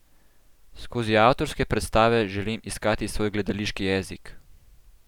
Skozi avtorske predstave želim iskati svoj gledališki jezik.